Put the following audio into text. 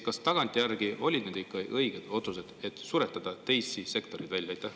Kas tagantjärele olid ikka õiged need otsused, millega suretatakse teisi sektoreid välja?